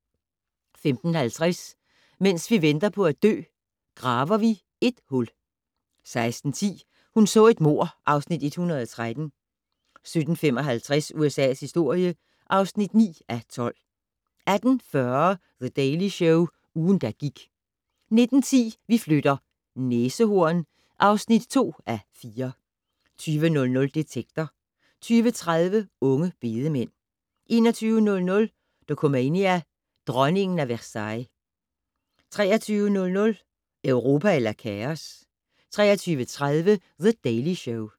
15:50: Mens vi venter på at dø - Graver vi et hul 16:10: Hun så et mord (Afs. 113) 17:55: USA's historie (9:12) 18:40: The Daily Show - ugen, der gik 19:10: Vi flytter - næsehorn (2:4) 20:00: Detektor 20:30: Unge bedemænd 21:00: Dokumania: Dronningen af Versailles 23:00: Europa eller kaos? 23:30: The Daily Show